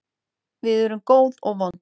Við erum góð og vond.